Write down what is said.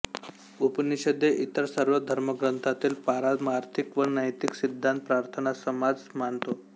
उपनिषदे इतर सर्व धर्मग्रंथांतील पारमार्थिक व नैतिक सिद्धांत प्रार्थनासमाज मानतो